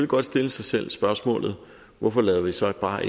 godt stille sig selv spørgsmålet hvorfor lader vi så ikke bare